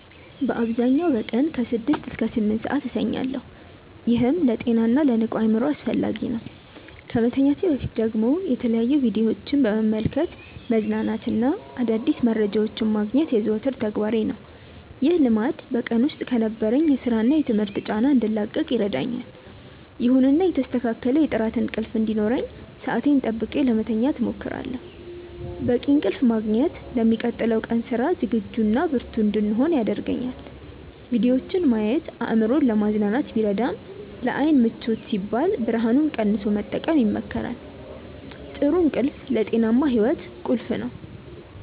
በአብዛኛው በቀን ከ6 እስከ 8 ሰዓት እተኛለሁ፤ ይህም ለጤናና ለንቁ አእምሮ አስፈላጊ ነው። ከመተኛቴ በፊት ደግሞ የተለያዩ ቪዲዮዎችን በመመልከት መዝናናትና አዳዲስ መረጃዎችን ማግኘት የዘወትር ተግባሬ ነው። ይህ ልማድ በቀን ውስጥ ከነበረኝ የሥራና የትምህርት ጫና እንድላቀቅ ይረዳኛል። ይሁንና የተስተካከለ የጥራት እንቅልፍ እንዲኖረኝ ሰዓቴን ጠብቄ ለመተኛት እሞክራለሁ። በቂ እንቅልፍ ማግኘት ለሚቀጥለው ቀን ስራ ዝግጁና ብርቱ እንድሆን ያደርገኛል። ቪዲዮዎችን ማየት አእምሮን ለማዝናናት ቢረዳም፣ ለዓይን ምቾት ሲባል ብርሃኑን ቀንሶ መጠቀም ይመከራል። ጥሩ እንቅልፍ ለጤናማ ሕይወት ቁልፍ ነው።